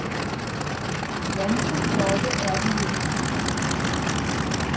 Ganske flotte er de jo.